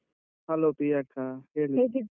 Hello ಪ್ರಿಯ ಅಕ್ಕ